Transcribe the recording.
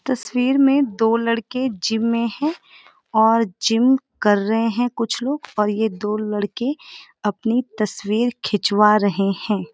तस्‍वीर में दो लड़के जिम में है और जिम कर रहे हैं कुछ लोग और ये दो लड़के अपनी तस्‍वीर खिचवां रहे हैं।